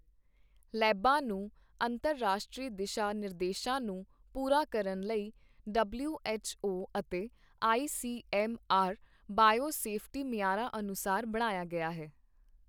ਲੈਬਾਂ ਨੂੰ ਅੰਤਰਰਾਸ਼ਟਰੀ ਦਿਸ਼ਾ ਨਿਰਦੇਸ਼ਾਂ ਨੂੰ ਪੂਰਾ ਕਰਨ ਲਈ ਡਬਲਿਊ ਐੱਚ ਓ ਅਤੇ I C M R biosafety ਮਿਆਰਾਂ ਅਨੁਸਾਰ ਬਣਾਇਆ ਗਿਆ ਹੈ।